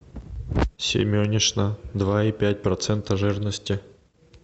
семенишна два и пять процента жирности